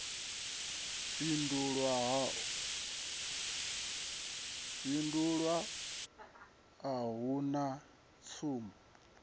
fhindulwa a hu na tsumbo